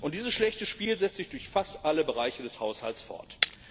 Dieses schlechte Spiel setzt sich durch fast alle Bereiche des Haushalts fort.